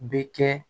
Bɛ kɛ